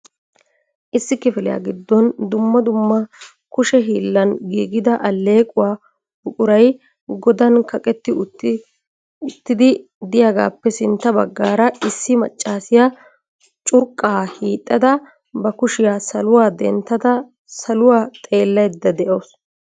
Issi kifiliya giddon dumma dumma kushee hiolan giiigida allequwaa buquray godan kaqetti uttidi de'iyaagappe sintta baggaara issi maccassiya curqqa hiixxada ba kushiyaa saluwa dentta saluwa xellaydda de'awus.